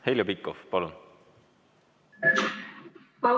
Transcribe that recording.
Heljo Pikhof, palun!